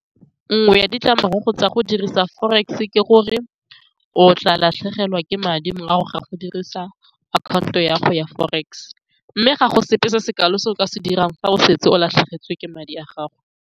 Nngwe ya ditlamorago tsa go dirisa Forex-e ke gore o tla latlhegelwa ke madi morago ga go dirisa accounto ya go ya forex, mme ga go sepe se se kalo se o ka se dirang fa o setse o latlhegetswe ke madi a gago.